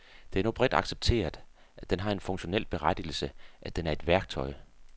Det er nu bredt accepteret, at den har en funktionel berettigelse, at den er et værktøj.